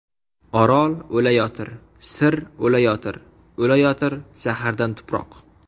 Orol o‘layotir, Sir o‘layotir, O‘layotir zahardan tuproq.